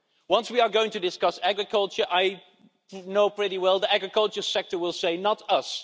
Once we are going to discuss agriculture I know pretty well the agriculture sector will say, not us.